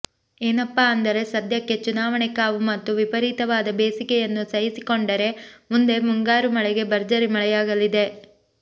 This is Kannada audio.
ಏನಪ್ಪಾ ಅಂದರೆ ಸದ್ಯಕ್ಕೆ ಚುನಾವಣೆ ಕಾವು ಮತ್ತು ವಿಪರೀತವಾದ ಬೇಸಿಗೆಯನ್ನು ಸಹಿಸಿಕೊಂಡರೆ ಮುಂದೆ ಮುಂಗಾರು ವೇಳೆಗೆ ಭರ್ಜರಿ ಮಳೆಯಾಗಲಿದೆ